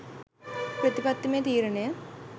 ප්‍රතිපත්තිමය තීරණය